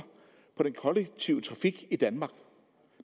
på den kollektive trafik i danmark